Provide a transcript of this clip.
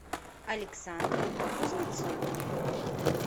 александру кузнецову